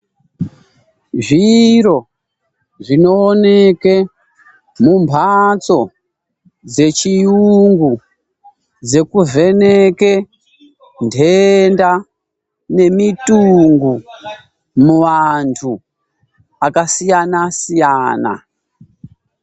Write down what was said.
Zviro zvinoonekwe mumbatso dzechirungu dzekuvheneke ndenda nemutungu muvantu akasiyana siyana.